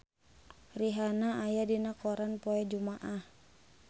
Rihanna aya dina koran poe Jumaah